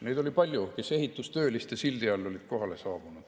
Neid oli palju, kes ehitustööliste sildi all olid kohale saabunud.